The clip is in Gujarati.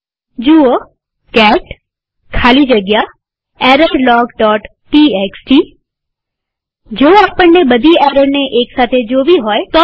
જુઓ કેટ ખાલી જગ્યા errorlogટીએક્સટી જો આપણને બધી એરરને એક સાથે જોવી હોય તો શું